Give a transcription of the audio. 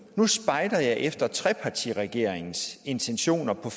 nu spejder jeg efter trepartiregeringens intentioner på